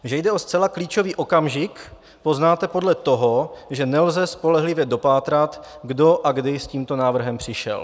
Že jde o zcela klíčový okamžik, poznáte podle toho, že nelze spolehlivě dopátrat, kdo a kdy s tímto návrhem přišel.